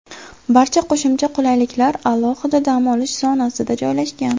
Barcha qo‘shimcha qulayliklar alohida dam olish zonasida joylashgan.